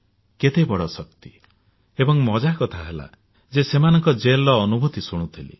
କେତେ ବଡ ଶକ୍ତି ଏବଂ ମଜା କଥା ହେଲା ଯେ ସେମାନଙ୍କ ଜେଲର ଅନୁଭୂତି ଶୁଣିଥିଲି